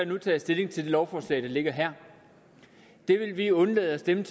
nu tages stilling til det lovforslag der ligger her det vil vi undlade at stemme